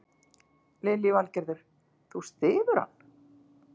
Lillý Valgerður: Þú styður hann?